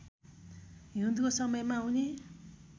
हिउँदको समयमा उनी